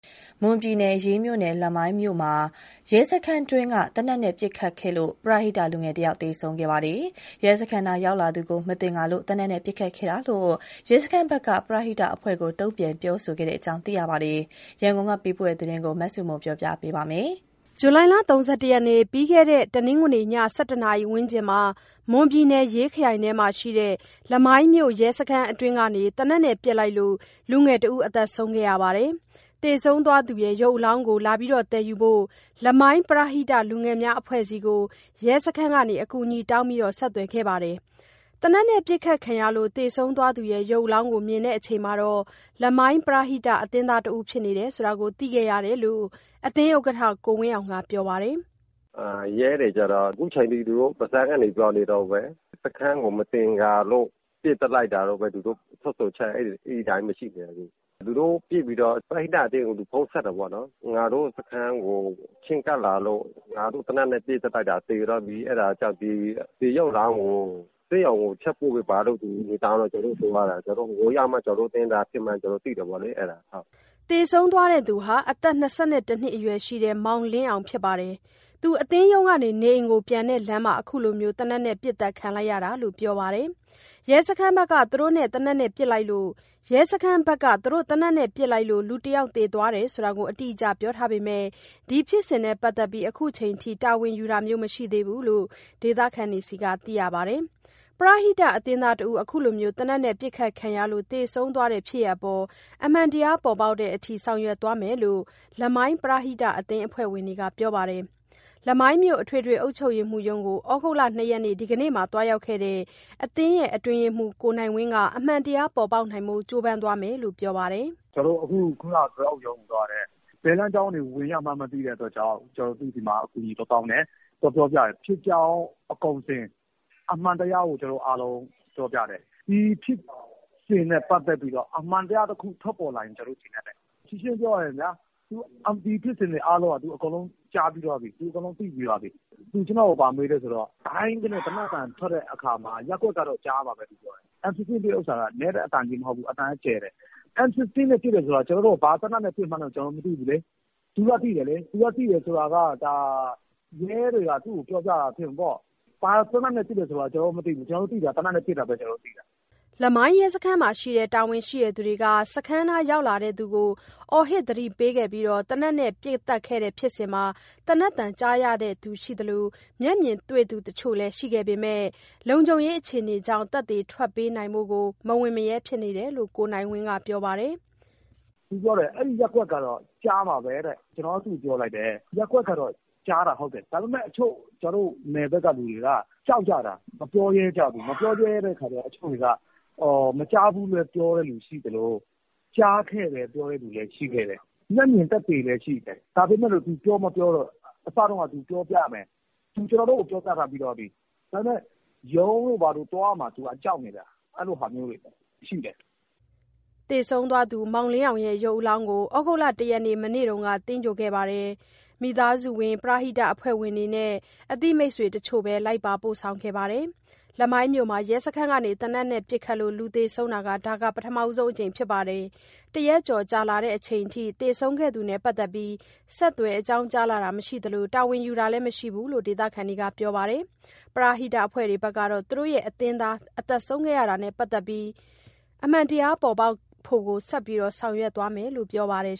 မွန်ပြည်နယ်၊ ရေးမြို့နယ် လမိုင်းမြို့မှာ ရဲစခန်းအတွင်းကနေ သေနတ်နဲ့ပစ်ခတ်ခဲ့လို့ ပရဟိတလူငယ်တဦး သေဆုံးခဲ့ပါတယ်။ ရဲစခန်းနားရောက်လာသူကို မသင်္ကာလို့ သေနတ်နဲ့ပစ်ခတ်ခဲ့တာလို့ ရဲစခန်းဘက်က ပရဟိတအဖွဲ့ကို တုံ့ပြန်ပြောခဲ့တယ်လို့သိရပါတယ်။ ရန်ကုန်ကပေးပို့ထားတဲ့သတင်း မဆုမွန်က တင်ပြပေးထားပါတယ်။ ဇူလိုင်လ ၃၁ ရက် ပြီးခဲ့တဲ့ တနင်္ဂနွေည ၁၁ နာရီဝန်းကျင်မှာ မွန်ပြည်နယ်၊ ရေးခရိုင်မှာရှိတဲ့ လမိုင်းမြို့ရဲစခန်းအတွင်းကနေ သေနတ်နဲ့ပစ်လိုက်လို့ လူငယ်တဦး သေဆုံးခဲ့ပါတယ်။ သေဆုံးသွားသူရဲ့ ရုပ်အလောင်းသယ်ယူဖို့ကို လမိုင်းပရဟိတလူငယ်များအဖွဲ့ဆီ အကူအညီတောင်း ဆက်သွယ်ခဲ့ပါတယ်။ သေနတ်နဲ့ပစ်ခတ်ခံရလို့ သေဆုံးသွားသူရဲ့ ရုပ်အလောင်းကိုမြင်တဲ့အချိန်မှာ လမိုင်းပရဟိတအသင်းသား ဖြစ်နေတယ်ဆိုတာ သိခဲ့ရတာလို့ အသင်းဥက္ကဋ္ဌ ကိုဝင်းအောင်က ပြောပါတယ်။ "ရဲတွေက အခုချိန်ထိ သူတို့ပါးစပ်ကနေ ပြောနေတုန်းပဲ၊ သူတို့စခန်းနားရောက် လာလို့ မသင်္ကာလို့ ပစ်သတ်လိုက်တာလို့ သူတို့ထွက်ဆိုချက်က အဲဒီအတိုင်းပဲ။ သူတို့ပစ်ပြီးတော့ ပရဟိတအသင်းကို ဖုန်းဆက်တာပေါ့နော်။ ငါတို့စခန်းကို ချဉ်းကပ်လာလို့ ငါတို့သေနတ်နဲ့ ပစ်သတ်လိုက်တာ သေသွားပြီ၊ အဲဒါကြောင့် ဒီရုပ်အလောင်းကို ဆေးရုံကိုတချက်ပို့ပေးပါလို့ အကူအညီတောင်းလို့ ကျနော်တို့သွားတာ။ ဟိုရောက်မှ ကျနော်တို့အသင်းသားဖြစ်မှန်း သိရတာ။" သေဆုံးသွားသူဟာ အသက်၂၁ နှစ်အရွယ် မောင်လင်းအောင်ဖြစ်ပြီးတော့ အသင်းရုံးကနေ နေအိမ်ကိုပြန်တဲ့လမ်းမှာ အခုလို သေနတ်နဲ့ပစ်သတ်ခံလိုက်ရတာလို့ ပြောပါတယ်။ ရဲစခန်းဘက်က သူတို့သေနတ်နဲ့ပစ်လိုက်လို့ လူတယောက်သေသွားတယ်ဆိုတာကို အတိအကျပြောထားပေမယ့် ဒီဖြစ်စဉ်နဲ့ပတ်သက်ပြီး အခုချိန်ထိ တာဝန်ယူတာမရှိသေးဘူးလို့ ဒေသခံတွေဆီက သိရပါတယ်။ ပရဟိတအသင်းသားတဦး အခုလို သေနတ်နဲ့ပစ်ခတ်ခံရလို့ သေဆုံးသွားတဲ့ဖြစ်ရပ်အပေါ် အမှန်တရားပေါ်ပေါက်တဲ့အထိ ဆောင်ရွက်သွားမယ်လို့ လမိုင်းပရဟိတအသင်း အဖွဲ့ဝင်တွေက ပြောပါတယ်။ လမိုင်းမြို့ အထွေထွေအုပ်ချုပ်ရေးရုံးကို ဩဂုတ်လ ၂ ရက်၊ ဒီကနေ့မှာ သွားရောက်ခဲ့တဲ့ အသင်းအတွင်းရေးမှူး ကိုနိုင်ဝင်းက အမှန်တရားပေါ်ပေါက်ဖို့အတွက် ကြိုးပမ်းသွားမယ်လို့ ပြောပါတယ်။ "ကျနော်တို့ ခုနတုန်းက ထွေ/အုပ်ရုံးကိုသွားတယ်။ ဘယ်လမ်းကြောင်းတွေဝင်ရမှန်း မသိလို့ သူ့ဆီမှာ အကူအညီသွားတောင်းတယ်။ ဖြစ်ကြောင်းကုန်စင် အမှန်တရားကို ကျနော်တို့အားလုံး ပြောပြတယ်။ ဒီဖြစ်စဉ်နဲ့ ပတ်သက်ပြီးတော့ အမှန်တရားတခု ထွက်ပေါ်လာရင် ကျနော်တို့ကျေနပ်တယ်။ ရှင်းရှင်းပြောရရင်ဗျာ ဒီဖြစ်စဉ်တွေအကုန်လုံးကို သူအကုန်ကြားသိပြီးသွားပြီ။ သူ ကျနော့်ကိုဘာမေးလဲ ဆိုတော့ ဒိုင်းခနဲ သေနတ်သံထွက်တဲ့အခါမှာ ရပ်ကွက်ကတော့ ကြားမှာပဲလို့ ပြောတယ်။ M 15 နဲ့ပစ်တာက နည်းတဲ့အသံမဟုတ်ဘူး၊ အသံကကျယ်တယ်လို့ ပြောတယ်။ M 15 နဲ့ ပစ်တယ်ဆိုတော့ ဘာသေနတ်နဲ့ပစ်တယ်ဆိုတာ ကျနော်တို့ မသိဘူးလေ။ သူကသိတယ်လေ၊ သူသိတယ်ဆိုတာ ရဲတွေက သူ့ကိုပြောပြတာ ဖြစ်မှာပေါ့။ ကျနော်တို့သိတာ သေနတ်နဲ့ပစ်တယ်ဆိုတာပဲ သိတာ။" လမိုင်းရဲစခန်းမှာရှိတဲ့ တာဝန်ရှိသူတွေက စခန်းနားရောက်လာသူကို အော်ဟစ်သတိပေးပြီး သေနတ်နဲ့ပစ်သတ်ခဲ့တဲ့ ဖြစ်စဉ်မှာ သေနတ်သံကြားသူရှိသလို မျက်မြင်တွေ့သူတချို့လည်း ရှိခဲ့ပေမယ့် လုံခြုံရေးအခြေအနေကြောင့် သက်သေထွက်ပေးဖို့ကို မဝံ့မရဲဖြစ်နေတယ်လို့ ကိုနိုင်ဝင်းက ပြောပါတယ်။ "အဲဒီရပ်ကွက်ကတော့ ကြားမှာပဲလို့ သူပြောတယ်။ ကျနော်က သူ့ကိုပြောလိုက်တယ်၊ ရပ်ကွက်ကကြားတာ ဟုတ်တယ်။ ဒါပေမယ့် ကျနော်တို့ နယ်ဘက်ကလူတွေက ကြောက်ကြတာ မပြောရဲကြဘူး။ မပြောရဲတဲ့အခါကျတော့ တချို့တွေက မကြားဘူးပဲ ပြောတဲ့လူရှိသလို ကြားခဲ့တယ်ပြောတဲ့ လူတွေလည်း ရှိခဲ့တယ်။ မျက်မြင်သက်သေလည်း ရှိတယ်။ အစတုန်းက သူပြောပြမယ်လို့ မျက်မြင်သက်သေက ကျနော်တို့ကို ပြောပြထားပြီးပြီ။ ဒါပေမယ့် ရုံးတို့ဘာတို့သွားရမှာ သူကြောက်နေတယ်။ အဲလိုမျိုးတွေရှိတယ်။" သေဆုံးသွားသူရဲ့ ရုပ်အလောင်းကို ဩဂုတ်လ ၁ ရက်၊ မနေ့တုန်းက သင်္ဂြိုဟ်ခဲ့ပြီး မိသားစုဝင်၊ ပရဟိတအဖွဲ့ဝင်တွေနဲ့ အသိတချို့သာ လိုက်ပါပို့ဆောင်ခဲ့တာပါ။ လမိုင်းမြို့မှာ ရဲစခန်းက သေနတ်နဲ့ပစ်ခတ်လို့ လူသေဆုံးတာ ဒါပထမဆုံးအကြိမ်ဖြစ်ပြီး တရက်ကျော်ကြာလာချိန်အထိ သေဆုံးခဲ့သူနဲ့ပတ်သက်ပြီး ဆက်သွယ်အကြောင်းကြားလာတာ မရှိသလို တာဝန်ယူတာလည်း မရှိဘူးလို့ ဒေသခံတွေကပြောပါတယ်။ ပရဟိတအဖွဲ့ကတော့ သူတို့ရဲ့အသင်းသား သေဆုံးတာနဲ့ပတ်သက်ပြီး အမှန်တရားပေါ်ပေါက်ဖို့ကို ဆက်ပြီးဆောင်ရွက်သွားမယ်လို့ ပြောပါတယ်